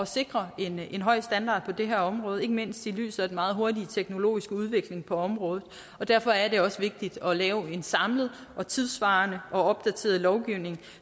sikre en høj standard på det her område ikke mindst i lyset af den meget hurtige teknologiske udvikling på området og derfor er det også vigtigt at lave en samlet og tidssvarende og opdateret lovgivning